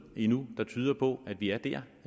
endnu der tyder på at vi er der